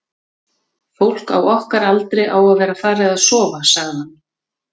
fólk á okkar aldri á að vera farið að sofa, sagði hann.